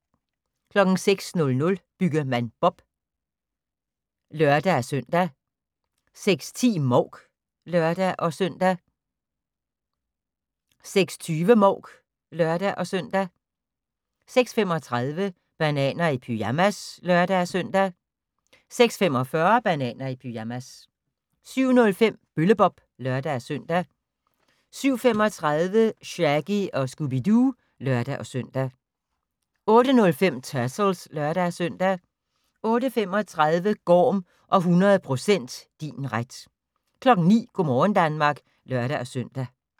06:00: Byggemand Bob (lør-søn) 06:10: Mouk (lør-søn) 06:20: Mouk (lør-søn) 06:35: Bananer i pyjamas (lør-søn) 06:45: Bananer i pyjamas 07:05: Bølle-Bob (lør-søn) 07:35: Shaggy & Scooby-Doo (lør-søn) 08:05: Turtles (lør-søn) 08:35: Gorm og 100% din ret 09:00: Go' morgen Danmark (lør-søn)